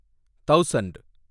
thousand